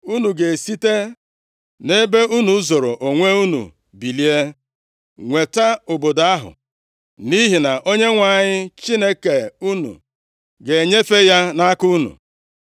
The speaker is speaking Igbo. unu ga-esite nʼebe unu zoro onwe unu bilie, nweta obodo ahụ, nʼihi na Onyenwe anyị Chineke unu ga-enyefe ya nʼaka unu.